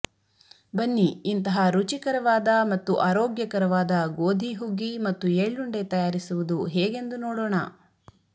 ಬನ್ನಿ ಇಂತಹ ರುಚಿಕರವಾದ ಮತ್ತು ಆರೋಗ್ಯಕರವಾದ ಗೋಧಿ ಹುಗ್ಗಿ ಮತ್ತು ಎಳ್ಳುಂಡೆ ತಯಾರಿಸುವುದು ಹೇಗೆಂದು ನೋಡೋಣ